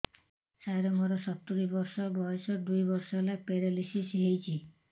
ସାର ମୋର ସତୂରୀ ବର୍ଷ ବୟସ ଦୁଇ ବର୍ଷ ହେଲା ପେରାଲିଶିଶ ହେଇଚି